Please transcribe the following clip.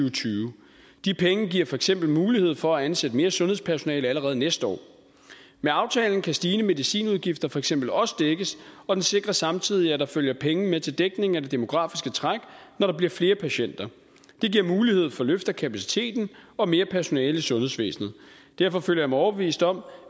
og tyve de penge giver for eksempel mulighed for at ansætte mere sundhedspersonale allerede næste år med aftalen kan stigende medicinudgifter for eksempel også dækkes og den sikrer samtidig at der følger penge med til dækning af det demografiske træk når der bliver flere patienter det giver mulighed for løft af kapaciteten og mere personale i sundhedsvæsenet derfor føler jeg mig overbevist om